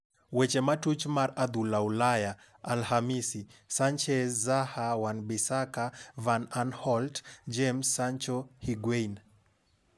Weche matuch mar adhula Ulaya Alhamisi: Sanchez, Zaha, Wan-Bissaka, Van Aanholt, James, Sancho, Higuain